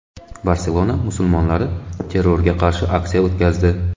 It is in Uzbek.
Barselona musulmonlari terrorga qarshi aksiya o‘tkazdi.